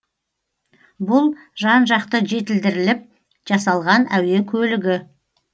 бұл жан жақты жетілдіріліп жасалған әуе көлігі